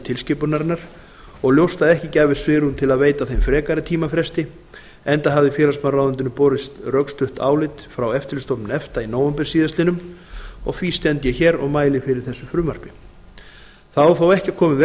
tilskipunarinnar og ljóst að ekki gæfist svigrúm til að veita þeim frekari tímafresti enda hafði félagsmálaráðuneytinu borist rökstudd álit frá eftirlitsstofnun efta í nóvember síðastliðinn og því stend ég hér og mæli fyrir þessu frumvarpi það á þó ekki að koma í veg